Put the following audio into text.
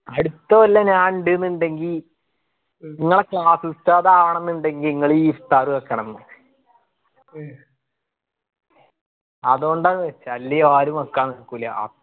അടുത്ത കൊല്ലം ഞാൻ ഇണ്ട് ഇണ്ടെങ്കി ഇങ്ങളെ class ഉസ്താദ് ആവണം ന്ന്‌ ഇണ്ടെങ്കി ഇങ്ങള് ഈ iftar വെക്കണംന്ന് അതോണ്ടാ വെച്ചേ അല്ലെ ആരു വെക്കാൻ നിക്കൂല്ല